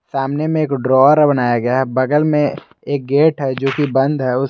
सामने में एक ड्रावर है बनाया गया बगल में एक गेट है जो कि बंद है।